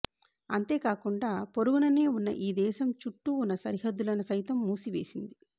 అంతేకాకుం డా పొరుగుననే ఉన్న ఈ దేశం చుట్టూ ఉన్న సరిహద్దు లను సైతం మూసి వేసింది